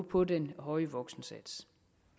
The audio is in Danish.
på den høje voksensats